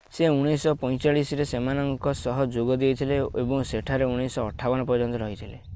ସେ 1945ରେ ସେମାନଙ୍କ ସହ ଯୋଗ ଦେଇଥିଲେ ଏବଂ ସେଠାରେ 1958 ପର୍ଯ୍ୟନ୍ତ ରହିଥିଲେ